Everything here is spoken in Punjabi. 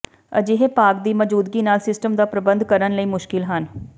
ਅਜਿਹੇ ਭਾਗ ਦੀ ਮੌਜੂਦਗੀ ਨਾਲ ਸਿਸਟਮ ਦਾ ਪ੍ਰਬੰਧ ਕਰਨ ਲਈ ਮੁਸ਼ਕਲ ਹਨ